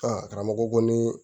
karamɔgɔ ko nii